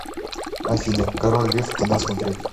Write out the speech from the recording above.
афина король лев кино смотреть